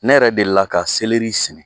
Ne yɛrɛ delila ka selɛri sigi.